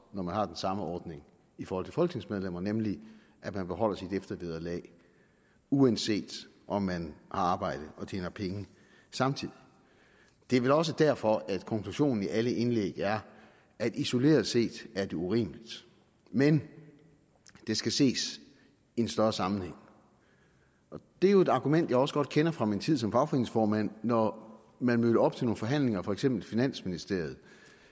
når man har den samme ordning for folketingsmedlemmer nemlig at man beholder sit eftervederlag uanset om man har arbejde og tjener penge samtidig det er vel også derfor at konklusionen i alle indlæg er at isoleret set er det urimeligt men det skal ses i en større sammenhæng det er jo et argument jeg også godt kender fra min tid som fagforeningsformand når man mødte op til nogle forhandlinger for eksempel i finansministeriet